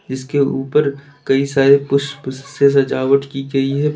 जिसके ऊपर कई सारे पुष्प से सजावट की गई है।